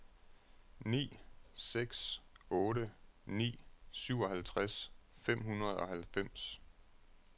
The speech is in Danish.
ni seks otte ni syvoghalvtreds fem hundrede og halvfems